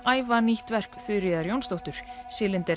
æfa nýtt verk Þuríðar Jónsdóttur